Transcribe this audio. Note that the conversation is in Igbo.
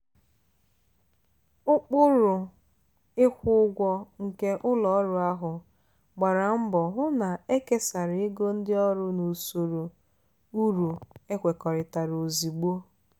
ụkpụrụ ịkwụ ụgwọ nke ụlọ ọrụ ahụ gbara mbọ hụ na ekesara ego ndị ọrụ n'usoro uru ekwekọrịtara ozugbo.